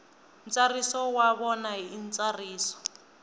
ntsariso wa vona hi ntsariso